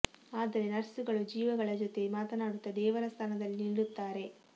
ಆದರೆ ನರ್ಸ್ ಗಳು ಜೀವಗಳ ಜೊತೆ ಮಾತನಾಡುತ್ತಾ ದೇವರ ಸ್ಥಾನದಲ್ಲಿ ನಿಲ್ಲುತ್ತಾರೆ